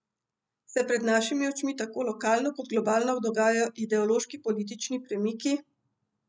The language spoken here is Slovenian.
Se pred našimi očmi tako lokalno kot globalno dogajajo ideološki politični premiki?